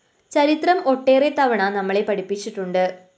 ചരിത്രം ഒട്ടേറെ തവണ നമ്മളെ പഠിപ്പിച്ചിട്ടുണ്ട്‌